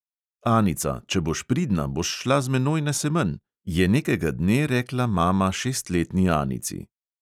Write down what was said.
"Anica, če boš pridna, boš šla z menoj na semenj," je nekega dne rekla mama šestletni anici.